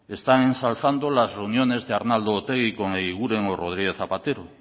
están ensalzando las reuniones de arnaldo otegi con eguiguren o rodríguez zapatero